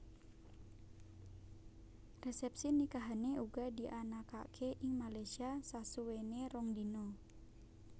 Resepsi nikahane uga dianakake ing Malaysia sasuwene rong dina